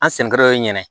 An senkɔrɔ yen nɛnɛ